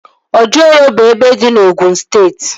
Ojụore bụ ebe dị na Ogụn steeti